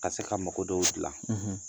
Ka se ka makodɔw dilan;